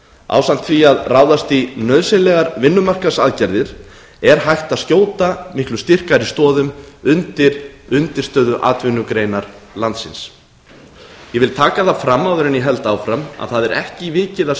ásamt því að ráðast í nauðsynlegar vinnumarkaðsaðgerðir er hægt að skjóta miklu styrkari stoðum undir undirstöðuatvinnugreinar landsins ég vil taka það fram áður en ég held áfram að það er ekki vikið að